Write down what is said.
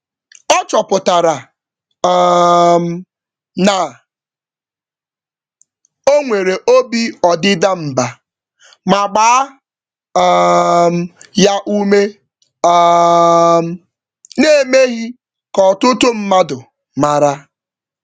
Ọ chọpụtara um na onwere obi ọdịda mbà, ma gbaa um ya ume um naemeghi ka ọtụtụ mmadụ màrà